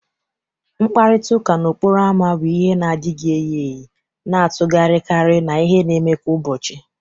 Mkparịta ụka n'okporo ámá bu ihe na adighi eyi eyi na-atụgharịkarị n'ihe na-eme kwa ụbọchị